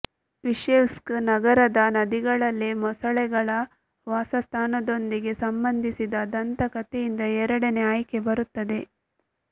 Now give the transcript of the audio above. Izhevsk ನಗರದ ನದಿಗಳಲ್ಲಿ ಮೊಸಳೆಗಳ ವಾಸಸ್ಥಾನದೊಂದಿಗೆ ಸಂಬಂಧಿಸಿದ ದಂತಕಥೆಯಿಂದ ಎರಡನೇ ಆಯ್ಕೆ ಬರುತ್ತದೆ